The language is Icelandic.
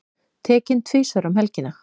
Tekinn tvisvar um helgina